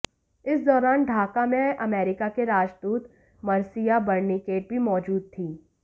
इस दौरान ढाका में अमेरिका की राजदूत मर्सिया बर्निकेट भी मौजूद थीं